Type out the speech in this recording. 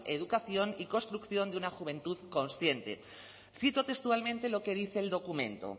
educación y construcción de una juventud consciente y cito textualmente lo que dice el documento